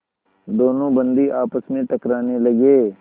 दोनों बंदी आपस में टकराने लगे